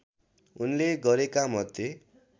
उनले गरेका मध्ये